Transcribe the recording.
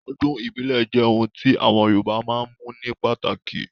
Ọdún ìbílẹ̀ jẹ́ ohun tí àwọn Yorùbá máa ń mú ní pàtàkì